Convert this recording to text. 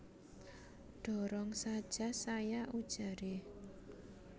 Dorong saja saya ujaré